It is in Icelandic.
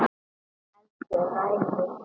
Hann heldur ræðu.